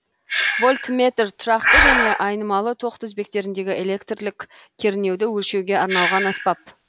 вольтметр тұрақты және айнымалы тоқ тізбектеріндегі электрлік кернеуді өлшеуге арналған аспап